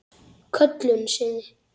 Köllun sinni?